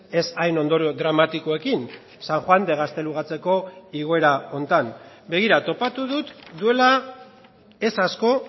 ez hain ondorio dramatikoekin san juan de gaztelugatxeko igoera honetan begira topatu dut duela ez asko